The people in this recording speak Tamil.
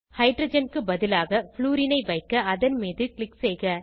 ஹைட்ரஜன் க்கு பதிலாக ப்ளூரின் ஐ வைக்க அதன் மீது க்ளிக் செய்க